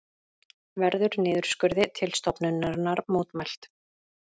Verður niðurskurði til stofnunarinnar mótmælt